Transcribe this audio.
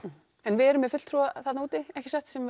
en við erum með fulltrúa þarna úti ekki satt